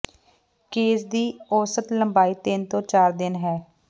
case ਦੀ ਔਸਤ ਲੰਬਾਈ ਤਿੰਨ ਤੋਂ ਚਾਰ ਦਿਨ ਹੈ